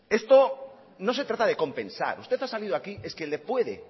esto no se trata de compensar usted ha salido aquí es que le puede